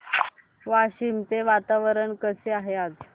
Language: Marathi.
वाशिम चे वातावरण कसे आहे आज